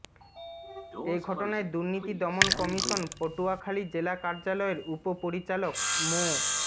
এ ঘটনায় দুর্নীতি দমন কমিশন পটুয়াখালী জেলা কার্যালয়ের উপ পরিচালক মো